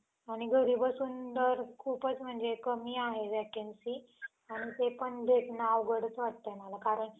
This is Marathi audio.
आणि घरी बसून तर खूपच म्हणजे कमी आहे vacancy आणि ते पण भेटणं अवघडंच वाटतंय मला कारण